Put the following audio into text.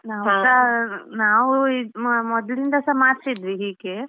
ನಾವುಸ ನಾವು ಮೊ~ ಮೊದ್ಲಿನಂದಸ ಮಾಡ್ತಿದ್ವಿ ಹೀಗೆ.